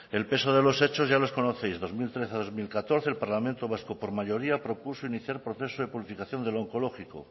el peso de los hechos ya los conoces dos mil trece dos mil catorce el parlamento vasco por mayoría propuso iniciar proceso de del onkologiko